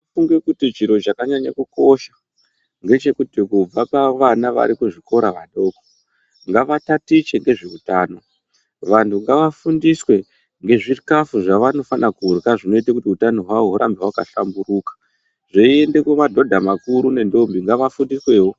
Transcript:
Ndinofunge kuti chiro chanyanye kukoshe ngechekuti kubva pavana vari kuchikora vadoko ngavatatiche ngezveutano. Vantu ngavadzidziswe ngezvikhafu zbavanofanire kurya zvinoite kuti utano hwavo hurambe hwakahlamburika zveiende kumamadhodha makuru nendombi ngavafundiswewo.